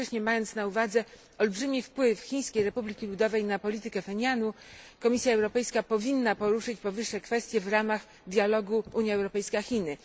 Jednocześnie, mając na uwadze olbrzymi wpływ Chińskiej Republiki Ludowej na politykę Phenianu, Komisja Europejska powinna poruszyć powyższe kwestie w ramach dialogu Unia Europejska Chiny.